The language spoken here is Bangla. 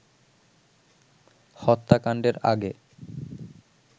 হত্যাকাণ্ডের আগে